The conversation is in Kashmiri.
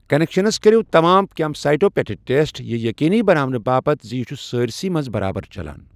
کَنیٚکشَنس كٔرو تمام كیمپ سایٹو پیٹھٕ ٹیسٹ یہِ ییٚقینی بناونہٕ باپتھ زِ یہِ چھ سٲرۍسٕے منز برابر چلان۔